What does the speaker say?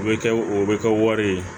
O bɛ kɛ o bɛ kɛ wari ye